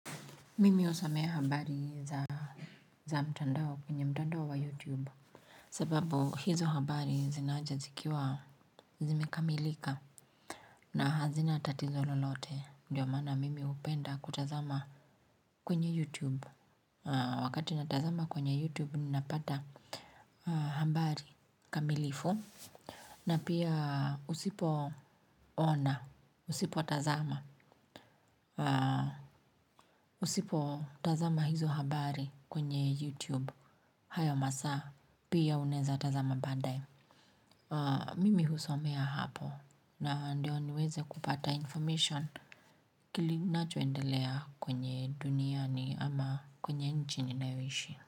Mimi husomea habari za mtandao kwenye mtandao wa youtube sababu hizo habari zinaja zikiwa zimekamilika na hazina tatizo lolote ndiyo maana mimi hupenda kutazama kwenye youtube wakati natazama kwenye youtube ninapata habari kamilifu na pia usipoona usipotazama usipotazama hizo habari kwenye youtube hayo masaa pia unaeza tazama baadae mimi husomea hapo na ndio niweze kupata information kilinachoendelea kwenye duniani ama kwenye nchini ninayoishi.